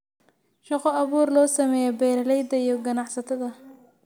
Shaqo abuur loo sameeyo beeralayda iyo ganacsatada.